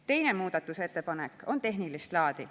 Teine muudatusettepanek on tehnilist laadi.